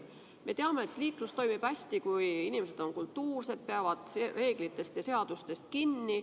Me teame, et liiklus toimib hästi, kui inimesed on kultuursed, peavad reeglitest ja seadustest kinni.